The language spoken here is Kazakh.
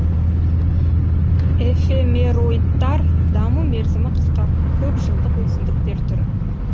эфемероидтар даму мерзімі қысқа көп жылдық өсімдіктер түрі